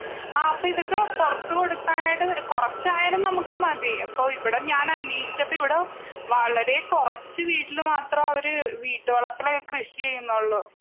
ആ അപ്പ ഇതൊക്കെ പുറത്തു കൊടുക്കാനായിട്ട് കുറച്ചായാലും നമുക്ക് മതി.ഓ ഞാനിവിടെ അന്വേഷിച്ചപ്പോൾ ഇവിടെ വളരെ കുറച്ചു വീട്ടില് മാത്രമവര് വീടുവളപ്പിലായിട്ട് കൃഷി ചെയ്യുന്നുന്നുള്ളു.